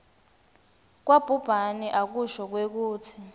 kwabhubhane akusho kwekutsi